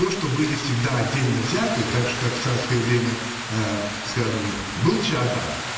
то что были всегда отдельно взятые также как в царское время аа скажем был чаадаев